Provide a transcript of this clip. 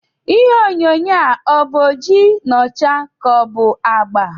Ihe onyonyo a ọ̀ bụ oji na ọcha ka ọ bụ agba?